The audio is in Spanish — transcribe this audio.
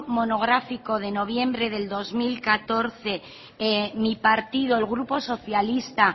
monográfico de noviembre del dos mil catorce mi partido el grupo socialista